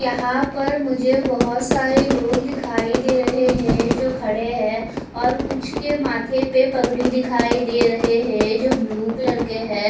यहा पर मुझे बहोत सारे लोग दिखाई दे रहे है जो खडे है और कुछ के माथे पे पगड़ी दिखाई दे रहा है जो ब्लू कलर के है।